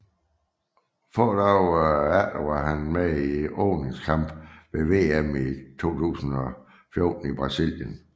Få dage senere var han med i åbningskampen ved VM 2014 i Brasilien